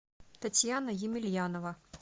татьяна емельянова